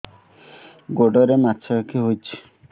ଗୋଡ଼ରେ ମାଛଆଖି ହୋଇଛି